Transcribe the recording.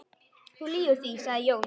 Þú lýgur því, sagði Jón.